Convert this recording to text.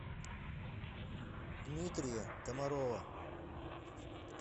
дмитрия комарова